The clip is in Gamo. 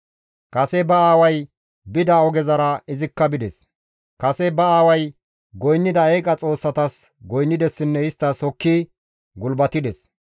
Kase ba aaway bida ogezara izikka bides; kase ba aaway goynnida eeqa xoossatas goynnidessinne isttas hokki gulbatides.